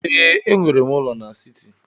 Ee, enwere m ụlọ n'siti.